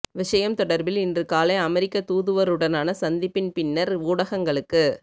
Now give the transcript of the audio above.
விடயம் தொடர்பில் இன்று காலை அமெரிக்க தூதுவருடான சந்திப்பின் பின்னர் ஊடகங்களுக்கு